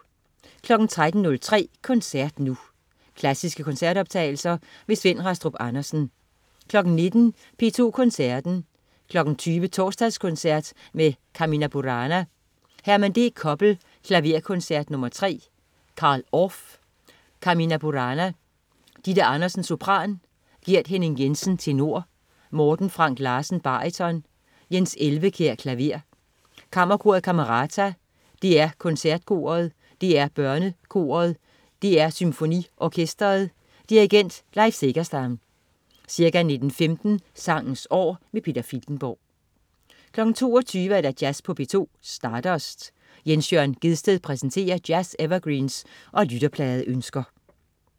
13.03 Koncert Nu. Klassiske koncertoptagelser. Svend Rastrup Andersen 19.00 P2 Koncerten. 20.00 Torsdagskoncert med Carmina Burana. Herman D. Koppel: Klaverkoncert nr. 3. Carl Orff: Carmina Burana. Ditte Andersen, sopran. Gert Henning-Jensen, tenor. Morten Frank Larsen, baryton. Jens Elvekjær, klaver. Kammerkoret Camerata. DR KoncertKoret. DR BørneKoret. DR SymfoniOrkestret. Dirigent: Leif Segerstam. Ca. 19.15 Sangens År. Peter Filtenborg 22.00 Jazz på P2. Stardust. Jens Jørn Gjedsted præsenterer jazz-evergreens og lytterpladeønsker